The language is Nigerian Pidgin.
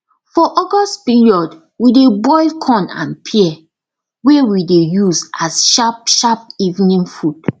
for august period we dey boil corn and pear wey we dey use as sharp sharp evening food